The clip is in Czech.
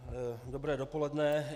Dobré dopoledne.